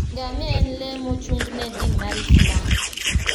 Ngamia en le mochung'ne din mar Islam.